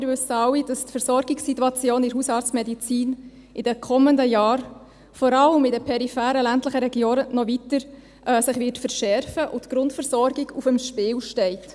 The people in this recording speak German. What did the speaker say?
Wir wissen alle, dass sich die Versorgungssituation in der Hausarztmedizin in den kommenden Jahren vor allem in den peripheren ländlichen Regionen noch weiter verschärfen wird und dass die Grundversorgung auf dem Spiel steht.